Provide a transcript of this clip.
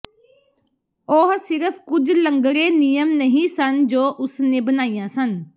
ਉਹ ਸਿਰਫ ਕੁਝ ਲੰਗੜੇ ਨਿਯਮ ਨਹੀਂ ਸਨ ਜੋ ਉਸ ਨੇ ਬਣਾਈਆਂ ਸਨ